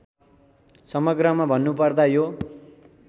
समग्रमा भन्नुपर्दा यो